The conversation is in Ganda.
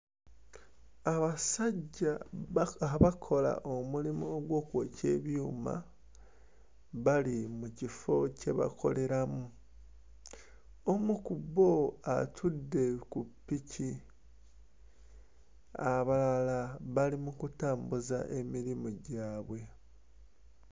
Abasajja abakola omulimo ogw'okwokya ebyuma bali mu kifo kye bakoleramu. Omu ku bo atudde ku ppiki, abalala bali mu kutambuza emirimu gyabwe.